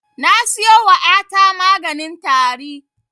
Na siyo wa ƴa ta maganin tari